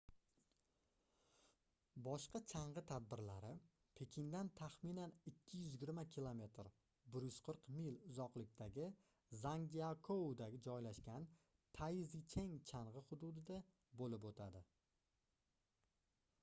boshqa chang'i tadbirlari pekindan taxminan 220 km 140 mil uzoqlikdagi zangjiakouda joylashgan taizicheng chang'i hududida bo'lib o'tadi